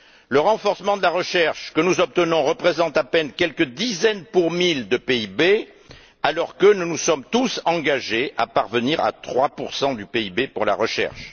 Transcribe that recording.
Le renforcement de la recherche que nous obtenons représente à peine quelques dizaines pour mille de PIB, alors que nous nous sommes tous engagés à parvenir à 3 du PIB pour la recherche.